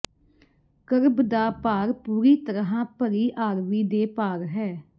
kerb ਦਾ ਭਾਰ ਪੂਰੀ ਤਰ੍ਹਾਂ ਭਰੀ ਆਰਵੀ ਦੇ ਭਾਰ ਹੈ